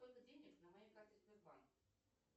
сколько денег на моей карте сбербанк